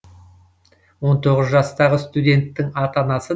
он тоғыз жастағы студенттің ата анасы